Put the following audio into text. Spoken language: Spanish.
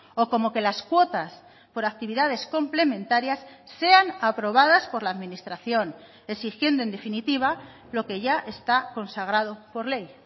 o como que las cuotas por actividades complementarias sean aprobadas por la administración exigiendo en definitiva lo que ya está consagrado por ley